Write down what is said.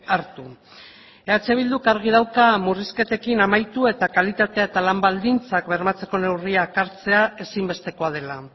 hartu eh bilduk argi dauka murrizketekin amaitu eta kalitatea eta lan baldintzak bermatzeko neurriak hartzea ezinbestekoa dela